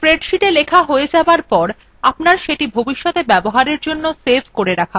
spreadsheetএ লেখা হয়ে যাবার পর আপনার সেটি ভবিষতে ব্যবহারের জন্য save ক করে রাখা উচিত